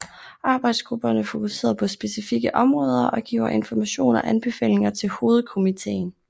Arbejdsgrupperne fokuserede på specifikke områder og giver information og anbefalinger til hovedkomitéen